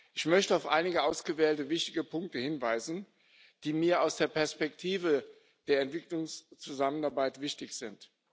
Ich möchte auf einige ausgewählte wichtige Punkte hinweisen, die mir aus der Perspektive der Entwicklungszusammenarbeit wichtig sind.